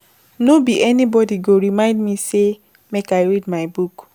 No be anybody go remind me sey make I read my book.